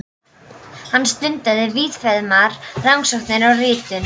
Hann stundaði víðfeðmar rannsóknir á ritun